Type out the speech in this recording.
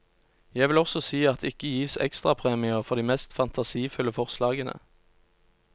Jeg vil også si at det ikke gis ekstrapremier for de mest fantasifulle forslagene.